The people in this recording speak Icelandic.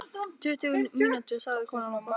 Tuttugu mínútur, sagði konan og brosti.